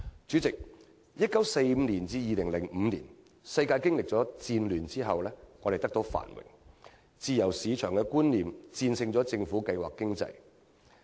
主席，由1945年至2005年，世界經歷了戰後的繁榮，自由市場觀念戰勝政府計劃經濟。